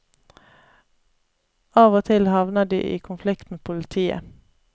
Av og til havner de i konflikt med politiet.